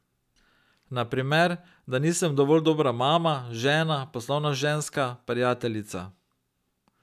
Na primer, da nisem dovolj dobra mama, žena, poslovna ženska, prijateljica ...